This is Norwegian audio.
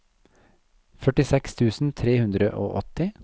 førtiseks tusen tre hundre og åtti